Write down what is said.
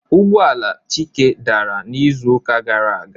Ụgbọ ala Chike dara n'izuụka gara aga